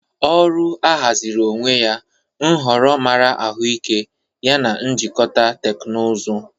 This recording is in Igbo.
Ọrụ ahaziri onwe ya, nhọrọ mara ahụike yana njikọta teknụzụ.